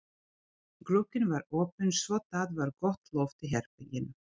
Glugginn var opinn svo það var gott loft í herberginu.